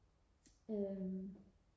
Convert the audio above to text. øhm